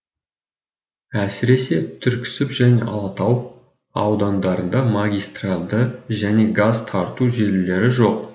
әсіресе түрксіб және алатау айдандарында магистралды және газ тарту желілері жоқ